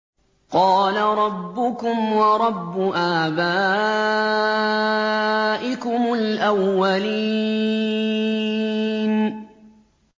قَالَ رَبُّكُمْ وَرَبُّ آبَائِكُمُ الْأَوَّلِينَ